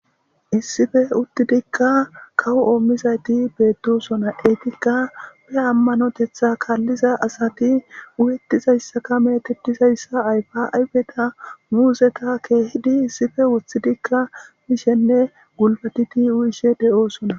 "Issipe uttidikka kawo mizaytti beetosona, Eetika wuri amanotetha kaaliza asati uyetizayska metetizaysa ayfa ayfeta, muuzeta, keehidi issipe wothidika mishenne gulbatidi uyishe de7osona."